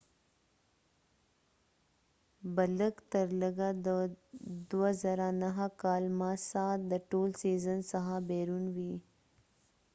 ماسا massaبه لږ تر لږه د 2009 کال د ټول سیزن څخه بیرون وي